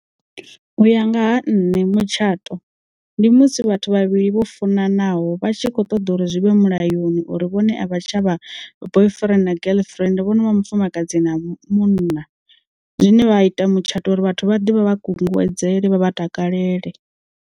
U ya nga ha nṋe mutshato, ndi musi vhathu vhavhili vhofunanaho vha tshi kho ṱoḓa uri zwi vhe mulayoni uri vhone avha tshavha boyfriend na girlfriend vhono vha mufumakadzi na munna. Zwine vha ita mutshato uri vhathu vha ḓe vha kunguwedzele vha takalele.